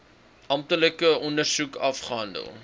amptelike ondersoek afgehandel